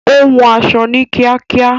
Ó hun aṣọ ní kíákíá